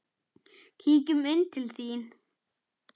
Kíkjum inn til þín